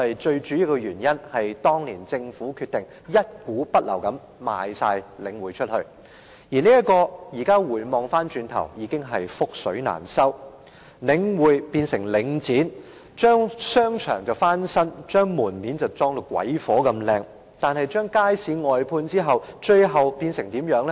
最主要的原因是，當年政府決定一股不留地出售領匯，現時回首已經是覆水難收，領匯變成領展，將商場翻新，將門面裝修得美輪美奐，但是，把街市外判後，最後變成怎樣呢？